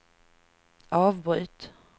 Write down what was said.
avbryt